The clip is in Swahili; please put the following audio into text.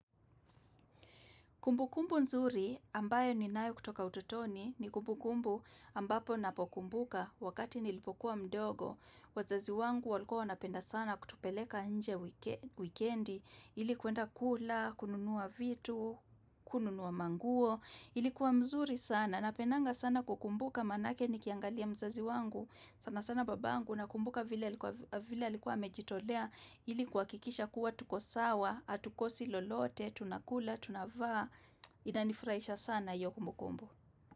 Kumbukumbu nzuri ambayo ninayo kutoka utotoni ni kumbukumbu ambapo napokumbuka wakati nilipokuwa mdogo. Wazazi wangu walikuwa wanapenda sana kutupeleka nje wikendi ili kwenda kula, kununua vitu, kununua manguo. Ilikuwa mzuri sana napendanga sana kukumbuka manake nikiangalia mzazi wangu sana sana babangu nakumbuka vile alikuwa vile alikuwa amejitolea ili kuhakikisha kuwa tuko sawa, hatukosi lolote, tunakula, tunavaa. Inanifurahisha sana hiyo kumbukumbu.